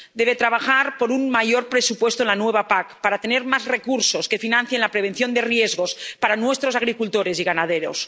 Debe trabajar por un mayor presupuesto en la nueva PAC para tener más recursos que financien la prevención de riesgos para nuestros agricultores y ganaderos.